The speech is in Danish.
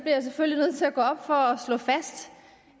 jeg selvfølgelig nødt til at gå op for at slå fast